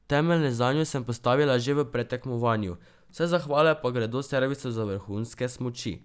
Temelje zanjo sem postavila že v predtekmovanju, vse zahvale pa gredo servisu za vrhunske smuči.